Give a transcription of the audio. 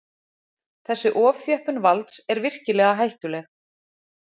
Þessi ofþjöppun valds er virkilega hættuleg